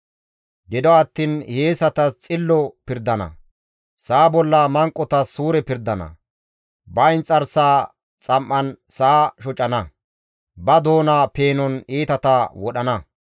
Gido attiin hiyeesatas xillo pirdana; sa7a bolla manqotas suure pirdana; ba inxarsaa xam7an sa7a shocana; ba doona peenon iitata wodhana.